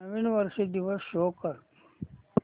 नवीन वर्ष दिवस शो कर